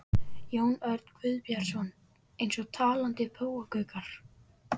Jón Örn Guðbjartsson: Eins og talandi páfagaukar?